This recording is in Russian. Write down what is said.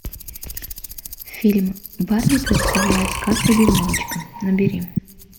фильм барби представляет сказку дюймовочка набери